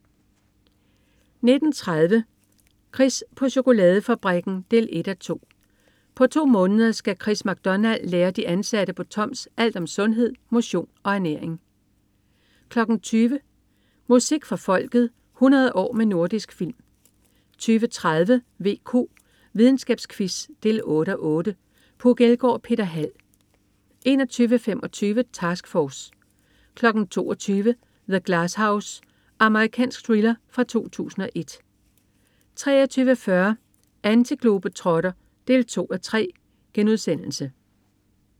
19.30 Chris på chokoladefabrikken 1:2. På to måneder skal Chris MacDonald lære de ansatte på Toms alt om sundhed, motion og ernæring 20.00 Musik for Folket 100 år med Nordisk Film 20.30 VQ. Videnskabsquiz 8:8. Puk Elgård og Peter Hald 21.25 Task Force 22.00 The Glass House. Amerikansk thriller fra 2001 23.40 Antiglobetrotter 2:3*